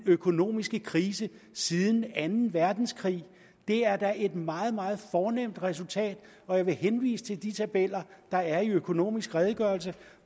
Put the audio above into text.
økonomiske krise siden anden verdenskrig det er da et meget meget fornemt resultat og jeg vil henvise til de tabeller der er i økonomisk redegørelse